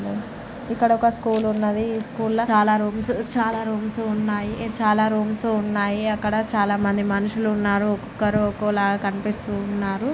ఇక్కడ ఒక స్కూల్ ఉన్నది. ఈ స్కూళ్ల చాలా రూమ్స్ ఉన్నాయి. అక్కడ చాలా మంది మనుషులు ఉన్నారు. ఒకొక్కరూ ఒకోలా కనిపిస్తున్నారు.